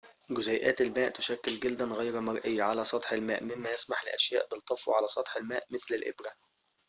جزيئات الماء تُشكل جلداً غير مرئي على سطح الماء مما يسمح لأشياء بالطفو على سطح الماء مثل الإبرة